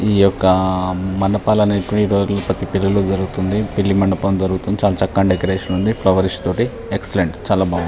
ఈ యొక్క మండపాలు అనేటివి ఈరోజుల్లో ప్రతి పెళ్లి లో జరుగుతుంది. పెళ్లి మండపం జరుగుతుంది చాలా చకగా డెకరేషన్ ఉంది ఫ్లవర్స్ తోటి ఎక్సెల్ట్ చాలా బాగుంది.